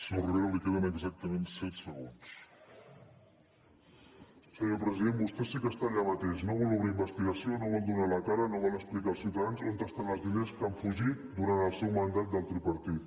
senyor president vostè sí que està allà mateix no vol obrir investigació no vol donar la cara no vol explicar als ciutadans on estan els diners que han fugit durant el seu mandat del tripartit